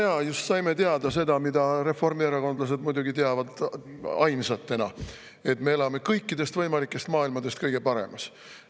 No jaa, just saime teada seda, mida reformierakondlased muidugi teavad ainsatena: et me elame kõikidest võimalikest maailmadest kõige paremas.